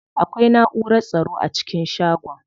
Akwai naʼurar tsaro a cikin shagon.